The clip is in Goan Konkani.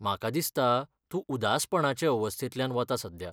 म्हाका दिसता तूं उदासपणाचे अवस्थेंतल्यान वता सध्या.